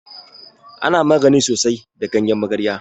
Ana magani da sosai da ganyen magarya.